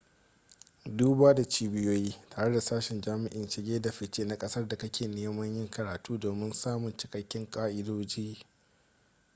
duba da cibiyoyi tare da sashen jami'in shige da fice na kasar da kake neman yin karatu domin samun cikaken ka'idoji